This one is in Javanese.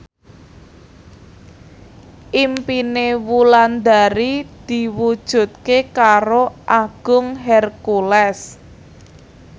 impine Wulandari diwujudke karo Agung Hercules